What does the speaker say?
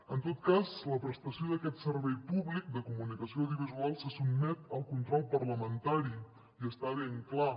en tot cas la prestació d’aquest servei públic de comunicació audiovisual se sotmet al control parlamentari i està ben clar